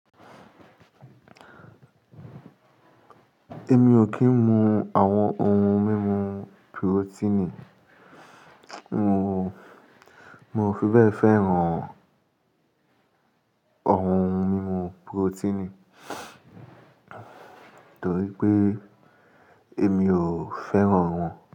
Èmi ò kì í mu àwọn ohun mímu purotínì. Mo, mo fi bẹ́ẹ̀ fẹ́ràn ọ̀hun ohun mímu purotínì, torí pé èmi ò fẹ́ràn wọn.